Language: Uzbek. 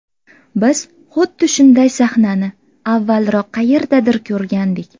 Biz xuddi shunday sahnani avvalroq qayerdadir ko‘rgandik.